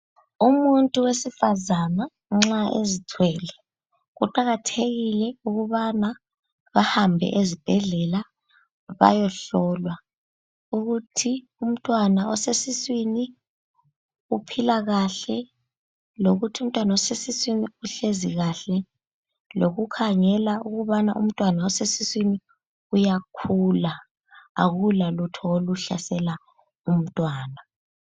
Umuntu wesifazana nxa ezithwele kuqakathekile ukubana bahambe ezibhedlela bayohlolwa ukuthi umntwana osesiswini uphila kahle, lokuthi umntwana osesiswini uhlezi kahle , lokukhangela ukubana umntwana osesiswini uyakhula akulalutho oluhlasela umntwana.